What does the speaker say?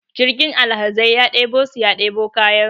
jirgin alhazai ya debo su ya debo kayansu